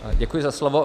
Děkuji za slovo.